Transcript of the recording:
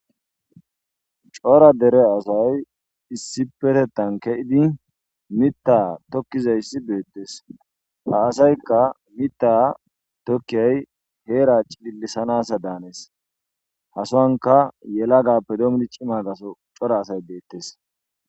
cora dere asay issipetettan keidi mitta tokkizayssi beettes ha asaykka mitta tokkiyay heera cilisanasa daanees hasoanka yela gappe doomidi cimagaso cora asay beettes